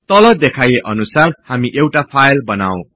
तल देखाइए अनुसार हामी एउटा फाईल बनाऔ